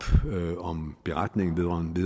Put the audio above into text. om beretningen vedrørende det